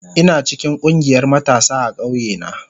Ina cikin ƙungiyar matasa a ƙauye na.